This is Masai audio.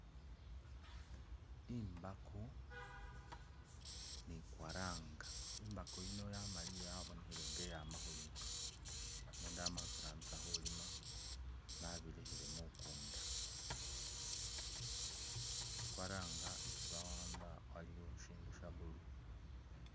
Imbako ni kwaranga, imbako yino yamaliye yabonekhele nga iyama khulima, umundu ama okirambisa khulima, babilekhele mukunda, kwaranga isi bawamba waliwo shindu sha blue